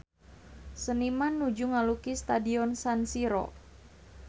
Seniman nuju ngalukis Stadion San Siro